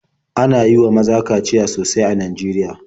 Ana yi wa maza kaciya sosai a Najeriya.